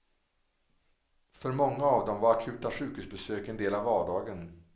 För många av dem var akuta sjukhusbesök en del av vardagen.